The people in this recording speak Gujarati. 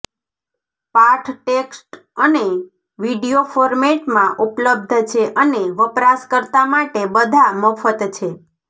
પાઠ ટેક્સ્ટ અને વિડિઓ ફોર્મેટમાં ઉપલબ્ધ છે અને વપરાશકર્તા માટે બધા મફત છે